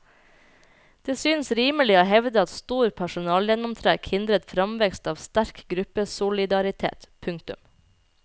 Det synes rimelig å hevde at stor personalgjennomtrekk hindret framveksten av sterk gruppesolidaritet. punktum